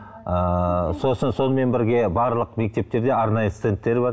ыыы сосын сонымен бірге барлық мектептерде арнайы стендтер бар